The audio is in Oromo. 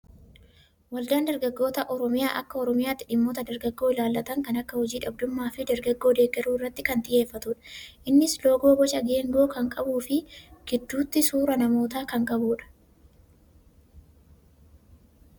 Waldaan dargaggoota oromiyaa akka oromiyaatti dhimmoota dargaggoo ilaallatan kan akka hojii dhabdummaa fi dargaggoo deeggaruu irratti kan xiyyeeffatudha. Innis loogoo boca geengoo kan qabuu fi gidduutti suuraa namootaa kan qabudha.